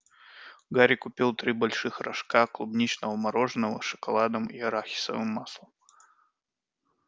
гарри купил три больших рожка клубничного мороженого с шоколадом и арахисовым маслом